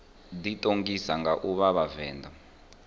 ḓiṱongisa nga u vha vhavenḓa